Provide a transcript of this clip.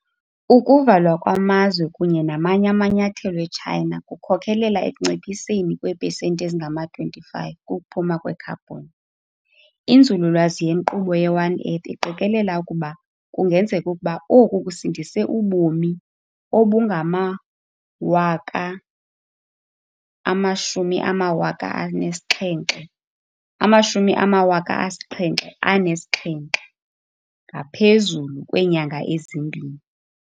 Ukuvalwa kwamazwe kunye namanye amanyathelo eChina kukhokelela ekunciphiseni kweepesenti ezingama-25 kukuphuma kwekhabhoni. Inzululwazi yenkqubo ye-One Earth iqikelela ukuba kungenzeka ukuba oku kusindise ubomi obungama-77,000 ngaphezulu kweenyanga ezimbini.